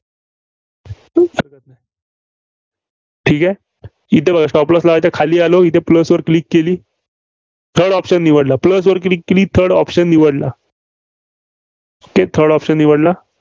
ठीक आहे? इथं बघा stop loss लावायचा. खाली आलो इथं plus वर click केली. third option निवडला. Plus वर click केली Third option निवडला. okay third option निवडला.